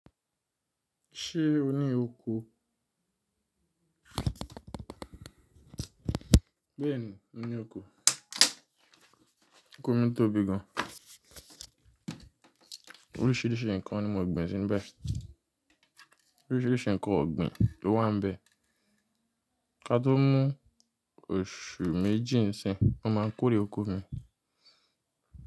Ṣé o ní oko? N ní oko, oko mi tóbi gan. Oríṣìíríṣìí ǹkan ni mo gbìn sinú bẹ. Oríṣìíríṣìí ǹkan ọ̀gbìn ló wà níbẹ̀. Ka tó mú oṣù méjì níìsín, wọ́n máa kórè oko mi.